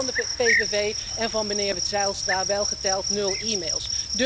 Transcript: De input van de PVV en van meneer Zijlstra welgeteld nul e-mails.